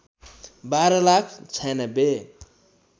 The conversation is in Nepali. १२ लाख ९६